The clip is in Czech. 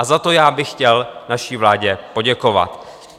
A za to já bych chtěl naší vládě poděkovat.